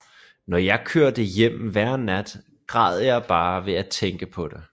Når jeg kørte hjem hver nat græd jeg bare ved at tænke på det